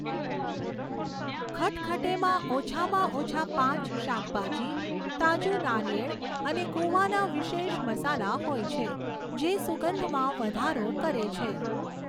ખટખટેમાં ઓછામાં ઓછા પાંચ શાકભાજી, તાજું નારિયેળ અને ગોવાના વિશેષ મસાલા હોય છે, જે સુગંધમાં વધારો કરે છે.